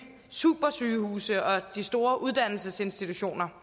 supersygehuse og de store uddannelsesinstitutioner